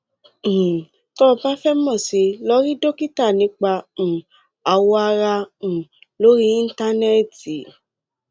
um tọ́ ọ bá fẹ mọ̀ sí i lọ rí dókítà nípa um awọ ara um lórí íńtánẹẹtì